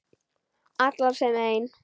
Allar sem ein.